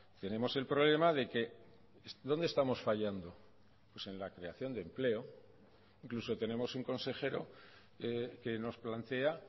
tenemos el problema de que dónde estamos fallando pues en la creación de empleo incluso tenemos un consejero que nos plantea